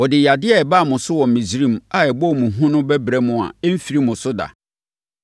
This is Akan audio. Ɔde yadeɛ a ɛbaa mo so wɔ Misraim a ɛbɔɔ mo hu no bɛbrɛ mo a ɛremfiri mo so da.